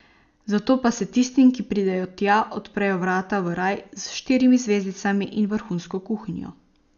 Zato pa se tistim, ki pridejo tja, odprejo vrata v raj s štirimi zvezdicami in vrhunsko kuhinjo.